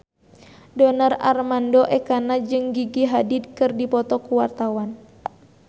Donar Armando Ekana jeung Gigi Hadid keur dipoto ku wartawan